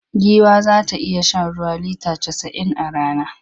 Giwa za ta iya shan ruwa lita casa'in a rana.